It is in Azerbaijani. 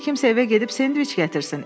Bəlkə kimsə evə gedib sendviç gətirsin.